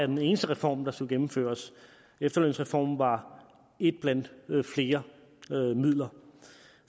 den eneste reform der skulle gennemføres efterlønsreformen var et blandt flere midler